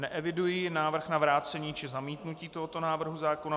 Neeviduji návrh na vrácení či zamítnutí tohoto návrhu zákona.